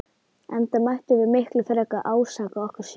Enda mættum við miklu frekar ásaka okkur sjálf.